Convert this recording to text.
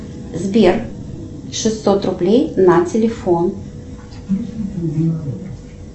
сбер шестьсот рублей на телефон